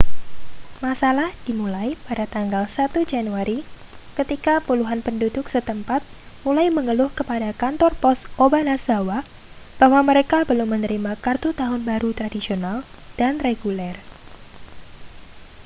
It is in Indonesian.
masalah dimulai pada tanggal 1 januari ketika puluhan penduduk setempat mulai mengeluh kepada kantor pos obanazawa bahwa mereka belum menerima kartu tahun baru tradisional dan reguler